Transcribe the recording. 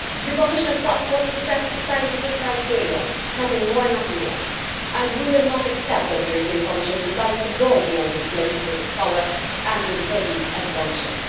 The Commission's task was to set scientific criteria nothing more, nothing less and we will not accept the Commission deciding to go beyond its legislative power and introduce exemptions.